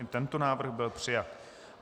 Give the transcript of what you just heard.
I tento návrh byl přijat.